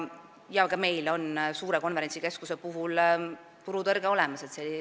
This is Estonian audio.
Ka meil on suure konverentsikeskuse puhul turutõrge olemas.